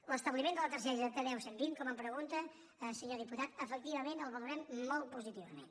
l’establiment de la targeta t deu cent i vint com em pregunta senyor diputat efectivament el valorem molt positivament